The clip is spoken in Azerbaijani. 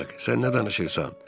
Sən nə danışırsan?